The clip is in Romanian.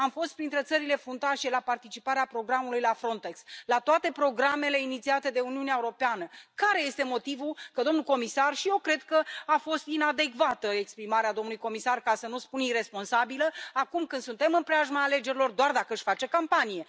Am fost printre țările fruntașe la participarea programului la Frontex, la toate programele inițiate de Uniunea Europeană. Care este motivul domnului comisar și eu cred că a fost inadecvată exprimarea domnului comisar, ca să nu spun iresponsabilă, acum, când suntem în preajma alegerilor, doar dacă își face campanie.